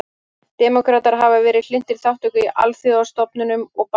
Demókratar hafa verið hlynntari þátttöku í alþjóðastofnunum og bandalögum.